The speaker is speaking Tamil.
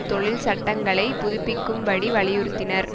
தொழில் சட்டங்களைப் புதுப்பிக்கும்படி வலியுறுத்தினர்